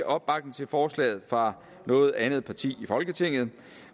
opbakning til forslaget fra noget andet parti i folketinget